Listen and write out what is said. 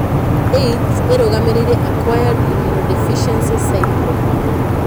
AIDS ĩrũgamĩrĩire acquired immunodeficiency syndrome.